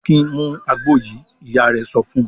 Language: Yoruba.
"Akin mú àgbo yìí!" Ìyá rẹ̀ sọ fún un.